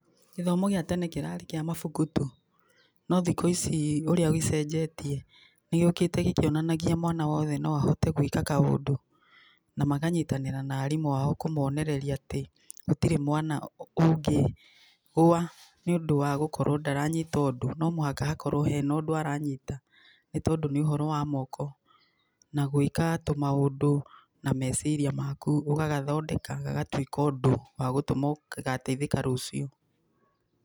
GĨthomo gĩa tene kĩrarĩ kĩa mabuku tu no thiku ici ũrĩa gĩcenejetie nĩ gĩũkite ɡĩkĩonanagia mwana wothe no ahote gwika kaũndũ. Na makanyitanĩra na arimũ ao kũmonereria ati gũtirĩ mwana ũngĩgũa nĩ ũndũ wa gũkorwo ndaranyita ũndũ. No mũhaka hena ũndũ aranyita. Nĩ tondũ nĩ ũhoro wa moko na gwĩka tũ maũndũ na meciria maku. Ugagathondeka gagatuĩka ũndũ wa gũtũma ũgateithĩka rũciũ.